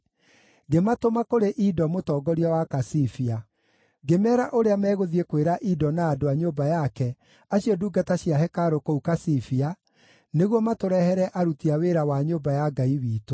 ngĩmatũma kũrĩ Ido mũtongoria wa Kasifia. Ngĩmeera ũrĩa megũthiĩ kwĩra Ido na andũ a nyũmba yake, acio ndungata cia hekarũ kũu Kasifia, nĩguo matũrehere aruti a wĩra wa nyũmba ya Ngai witũ.